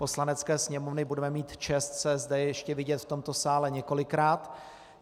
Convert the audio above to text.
Poslanecké sněmovny budeme mít čest se zde ještě vidět v tomto sále několikrát.